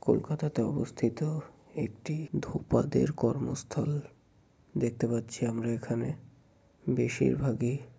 কলকাতাতে অবস্থিত একটি ধোপাদের কর্মস্থল দেখতে পাচ্ছি আমরা এখানে বেশিরভাগই।